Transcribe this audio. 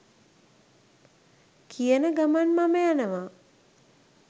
කියන ගමන් මම යනවා